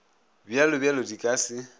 bj bj di ka se